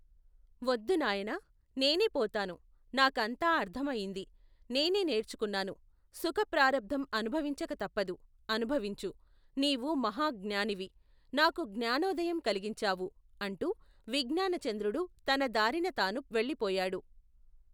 వద్దు, నాయనా ! నేనే పోతాను. నా కంతా అర్ధమయింది. నేనే నేర్చుకున్నాను. సుఖప్రారబ్ధం అనుభవించక తప్పదు ! అనుభవించు ! నీవు మహాజ్ఞానివి ! నాకు జ్ఞానోదయం కలిగించావు ! అంటూ విజ్ఞానచంద్రుడు తన దారిన తాను వెళ్ళిపోయాడు.